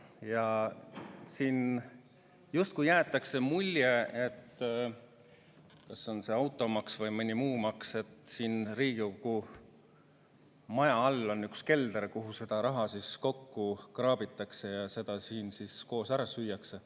Ja siin jäetakse mulje kas automaksu või mõne muu maksu, et justkui Riigikogu maja all on üks kelder, kuhu seda raha kokku kraabitakse ja siin koos ära süüakse.